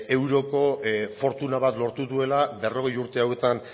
euroko fortuna bat lortu duela berrogei urte hauetan